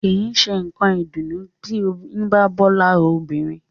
Kìí ṣé nǹkan ìdùnnú tí oyún bá bọ́ lára obìnrin